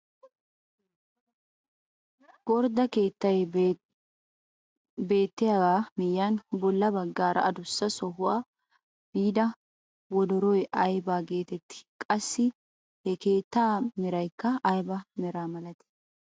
Gordda de'iyaa keettay beettiyaagaa miyiyaan bolla baggaara adussa sohuwaa biida wodoroy aybagaa getettii? qassi ha keettaa meraykka aybaa meraa milatii?